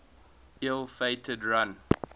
ill fated run